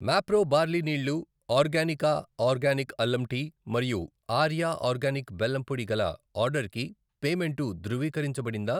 Mapro barley నీళ్ళు, Organica organic అల్లం tea మరియు ఆర్యా ఆర్గానిక్ బెల్లం పొడి గల ఆర్డర్కి పేమెంటు ధృవీకరించబడిందా?